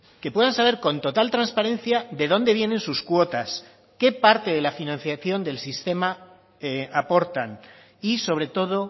que puedan saber con total transparencia de dónde vienen sus cuotas qué parte de la financiación del sistema aportan y sobre todo